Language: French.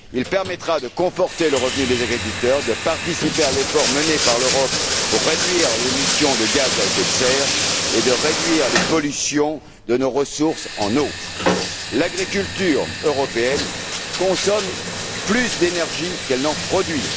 Il permettra de conforter le revenu des agriculteurs, de participer à l'effort mené par l'Europe pour réduire l'émission de gaz à effet de serre et de réduire les pollutions de nos ressources en eau. L'agriculture européenne consomme plus d'énergie qu'elle n'en produit.